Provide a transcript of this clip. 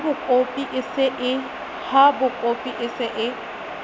ha bakopi e se e